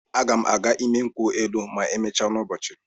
A ga m aga ịmị nkwụ elụ ma emechaa n'ụbọchị.